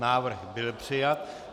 Návrh byl přijat.